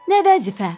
Nə vəzifə?